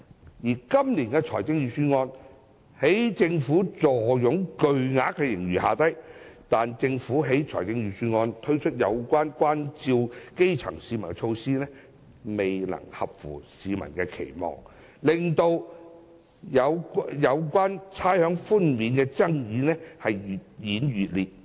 政府今年雖然坐擁巨額盈餘，但在預算案中推出的照顧基層市民措施，未能符合市民的期望，令有關差餉寬免的爭議越演越烈。